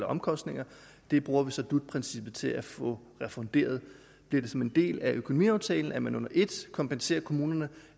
omkostninger dem bruger vi så dut princippet til at få refunderet bliver det som en del af økonomiaftalen at man under ét kompenserer kommunerne